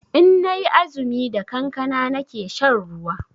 Inna yi azumi da kankana nake shan ruwa